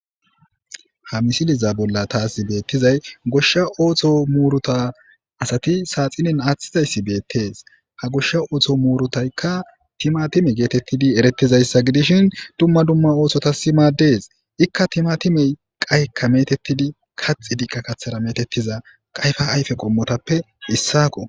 Ha misiliza bolla taasi beettizay goshsha ooththo muuruta asati saaxinin aaththizayssi beettes ha goshsha ootho muurutaykka tima time geetettidi eretizayssa gidishin dumma dumma oototasi maadees ikka tima time qaykka metettidi kaxi diqqa kathara metettiza qayfa ayfe qommotappe issako